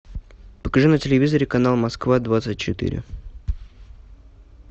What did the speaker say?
покажи на телевизоре канал москва двадцать четыре